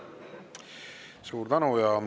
Suur tänu!